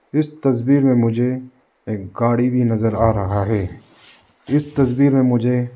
इस तस्वीर में मुझे एक गाड़ी भी नजर आ रहा है इस तस्वीर में मुझे--